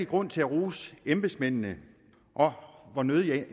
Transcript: grund til at rose embedsmændene og hvor nødigt jeg